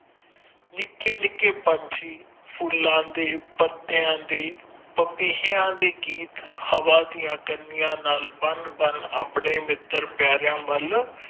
ਨਿਕੇ ਨਿਕੇ ਪੰਚੀ ਫੂਲਾ ਦੇ ਪਤਯਾ ਦੇ ਪੀਪੀਏ ਦੇ ਗੀਤ ਹਵਾ ਦੀਆ ਕਨੀਆਂ ਦੇ ਨਾਲ ਬਣ ਬਣ ਅਪਣੇ ਮਿੱਤਰ ਪਯਾਰੇ ਵਲ